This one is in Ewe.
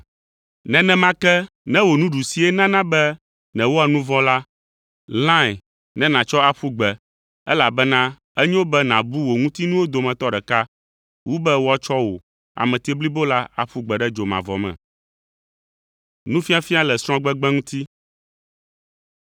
Nenema ke ne wò nuɖusie nana be nèwɔa nu vɔ̃ la, lãe ne nàtsɔ aƒu gbe, elabena enyo be nàbu wò ŋutinuwo dometɔ ɖeka wu be woatsɔ wò ame blibo la aƒu gbe ɖe dzomavɔ me.”